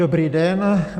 Dobrý den.